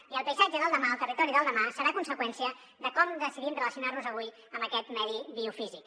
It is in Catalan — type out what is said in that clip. i el paisatge del demà el territori del demà serà conseqüència de com decidim relacionar nos avui amb aquest medi biofísic